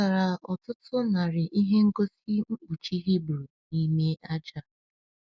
A chọtara ọtụtụ narị ihe ngosi mkpuchi Hibru n’ime aja.